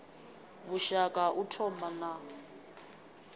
vhushaka ha u thoma na